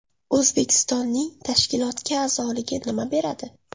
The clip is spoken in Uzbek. O‘zbekistonning tashkilotga a’zoligi nima beradi?